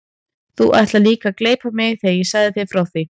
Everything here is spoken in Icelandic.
Þú ætlaðir líka að gleypa mig þegar ég sagði þér frá því.